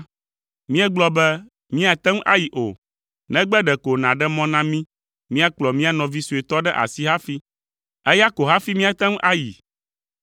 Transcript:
míegblɔ be, ‘Míate ŋu ayi o, negbe ɖeko nàɖe mɔ na mí míakplɔ mía nɔvi suetɔ ɖe asi hafi. Eya ko hafi míate ŋu ayi.’